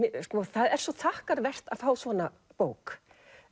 það er svo þakkarvert að fá svona bók